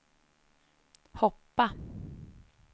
hoppa